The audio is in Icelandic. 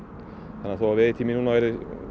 þannig að þó veiðitíminn núna verði